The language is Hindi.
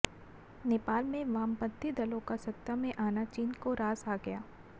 नेपाल में वामपंथी दलों का सत्ता में आना चीन को रास आ गया